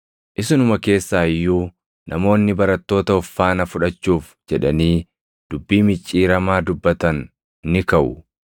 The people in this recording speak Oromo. Isinuma keessaa iyyuu namoonni barattoota of faana fudhachuuf jedhanii dubbii micciiramaa dubbatan ni kaʼu.